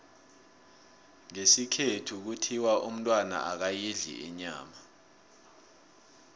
ngesikhethu kuthiwa umntwana akayidli inyama